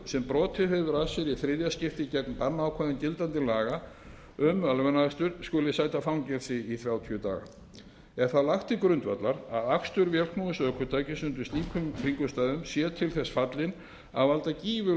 sem brotið hefur af sér í þriðja skipti gegn bannákvæðum gildandi laga um ölvunarakstur skuli sæta fangelsi í þrjátíu daga er þá lagt til grundvallar að akstur vélknúins ökutækis undir slíkum kringumstæðum sé til þess fallinn að valda gífurlegri